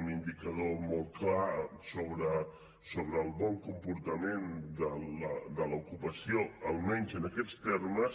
un indicador molt clar sobre el bon comportament de l’ocupació almenys en aquests termes